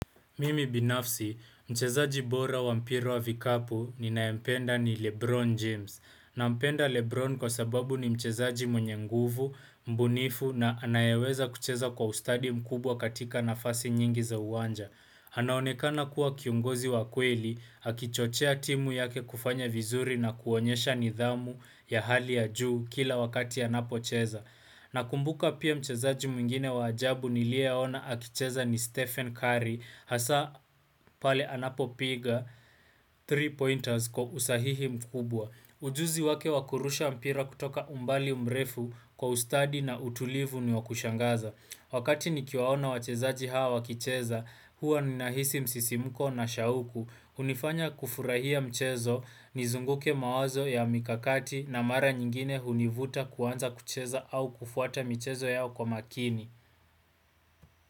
Mimi binafsi, mchezaji bora wa mpira wa vikapu ninayempenda ni Lebron James. Nampenda Lebron kwa sababu ni mchezaji mwenye nguvu, mbunifu na anayeweza kucheza kwa ustadi mkubwa katika nafasi nyingi za uwanja. Anaonekana kuwa kiongozi wa kweli, akichochea timu yake kufanya vizuri na kuonyesha nidhamu ya hali ya juu kila wakati ya apocheza. Nakumbuka pia mchezaji mwingine wa ajabu nilieona akicheza ni Stephen Curry hasa pale anapopiga three pointers kwa usahihi mkubwa. Ujuzi wake wa kurusha mpira kutoka umbali mrefu kwa ustadi na utulivu ni wa kushangaza. Wakati ni kiwaona wachezaji hawa wakicheza, huwa ni nahisi msisimuko na shauku, hunifanya kufurahia mchezo, nizunguke mawazo ya mikakati na mara nyingine hunivuta kuanza kucheza au kufuata mchezo yao kwa makini.